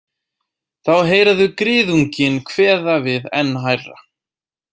Þá heyra þau griðunginn kveða við enn hærra.